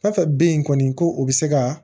Fɛn fɛn bɛ yen kɔni ko u bɛ se ka